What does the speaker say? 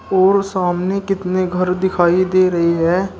और सामने कितने घर दिखाई दे रही है।